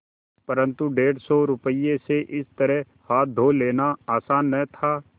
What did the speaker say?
परन्तु डेढ़ सौ रुपये से इस तरह हाथ धो लेना आसान न था